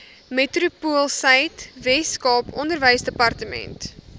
metropoolsuid weskaap onderwysdepartement